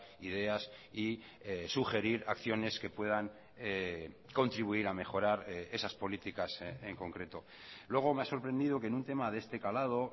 ideas y sugerir acciones que puedan contribuir a mejorar esas políticas en concreto luego me ha sorprendido que en un tema de este calado